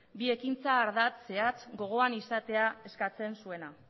bi ekintza ardatz zehatz gogoan izatea eskatzen zuena